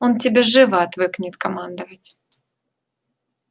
он тебе живо отвыкнет командовать